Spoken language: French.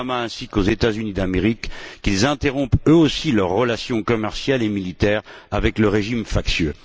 Obama ainsi qu'aux États Unis d'Amérique qu'ils interrompent eux aussi leurs relations commerciales et militaires avec le régime factieux.